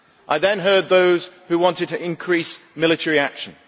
I then heard those who wanted to increase military action.